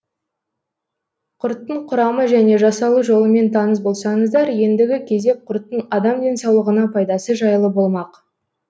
құрттың құрамы және жасалу жолымен таныс болсаңыздар ендігі кезек құрттың адам денсаулығына пайдасы жайлы болмақ